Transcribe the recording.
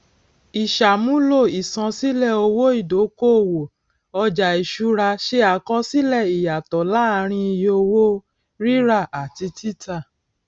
ìsàmúlò ìṣansílẹ owó ìdókòwò ọjà ìṣúra ṣe àkọsílẹ ìyàtò láàárín iye owó rírà àti títà